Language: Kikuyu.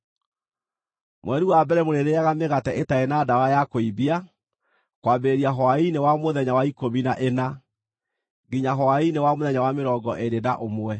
Mweri wa mbere mũrĩrĩĩaga mĩgate ĩtarĩ na ndawa ya kũimbia, kwambĩrĩria hwaĩ-inĩ wa mũthenya wa ikũmi na ĩna, nginya hwaĩ-inĩ wa mũthenya wa mĩrongo ĩrĩ na ũmwe.